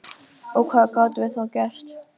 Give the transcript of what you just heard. Og hvað gátum við þá gert?